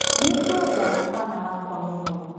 Nĩ ngwenda mwana wakwa mũno.